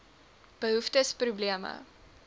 behoeftes probleme